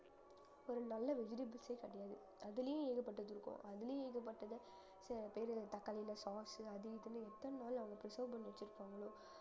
ஒரு நல்ல vegetables ஏ கிடையாது அதுலயும் ஏகப்பட்டது இருக்கும் அதுலயும் ஏகப்பட்டது ச~ தக்காளில sauce உ அது இதுன்னு எத்தன நாள் அவங்க preserve பண்ணி வச்சிருப்பாங்களோ